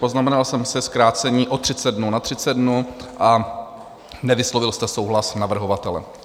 Poznamenal jsem si zkrácení o 30 dnů na 30 dnů a nevyslovil jste souhlas navrhovatele.